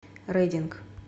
рединг